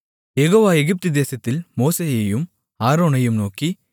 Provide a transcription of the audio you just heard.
யெகோவா எகிப்து தேசத்தில் மோசேயையும் ஆரோனையும் நோக்கி